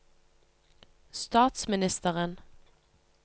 statsministeren